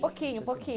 Pouquinho, pouquinho.